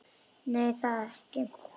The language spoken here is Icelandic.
Nei, það er það ekki.